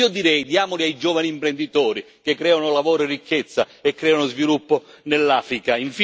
Io direi diamoli ai giovani imprenditori, che creano lavoro e ricchezza e creano sviluppo in Africa.